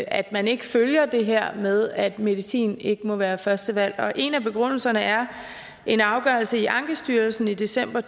at man ikke følger det her med at medicin ikke må være første valg en af begrundelserne er en afgørelse i ankestyrelsen i december